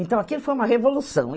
Então, aquilo foi uma revolução.